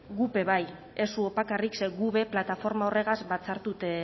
guk be bai ez zuok bakarrik ze guk be plataforma horregaz batzartute